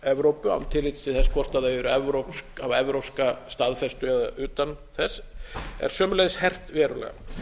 evrópu án tillits til þess hvort þau eru evrópsk hafa evrópska staðfestu eða utan þess er sömuleiðis hert verulega